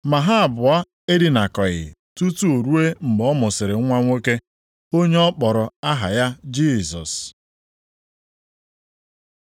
Ma ha abụọ edinakọghị tutu ruo mgbe ọ mụsịrị nwa nwoke, onye ọ kpọrọ aha ya Jisọs.